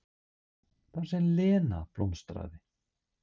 Þar sem Lena blómstraði.